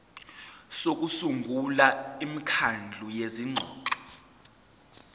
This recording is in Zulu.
sokusungula imikhandlu yezingxoxo